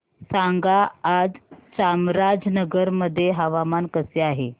सांगा आज चामराजनगर मध्ये हवामान कसे आहे